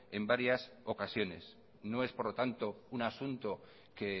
en varias ocasiones no es por lo tanto un asunto que